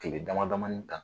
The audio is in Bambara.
Kile dama damani